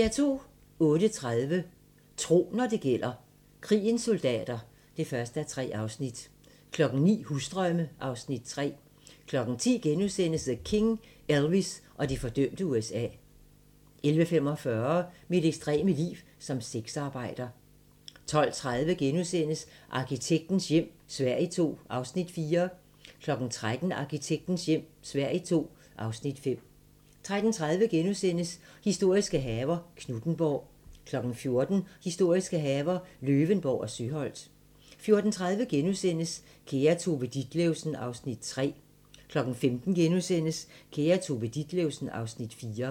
08:30: Tro, når det gælder: Krigens soldater (1:3) 09:00: Husdrømme (Afs. 3) 10:00: The King - Elvis og det fordømte USA * 11:45: Mit ekstreme liv som sexarbejder 12:30: Arkitektens hjem - Sverige II (Afs. 4)* 13:00: Arkitektens hjem - Sverige II (Afs. 5) 13:30: Historiske haver - Knuthenborg * 14:00: Historiske haver - Løvenborg og Søholt 14:30: Kære Tove Ditlevsen (Afs. 3)* 15:00: Kære Tove Ditlevsen (Afs. 4)*